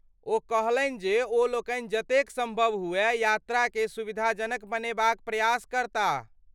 ओ कहलनि जे ओलोकनि जतेक सम्भव हुअय यात्राकेँ सुविधाजनक बनेबाक प्रयास करताह।